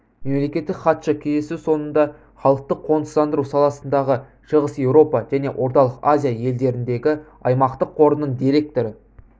мемлекеттік хатшы кездесу соңында халықты қоныстандыру саласындағы шығыс еуропа және орталық азия елдеріндегі аймақтық қорының директоры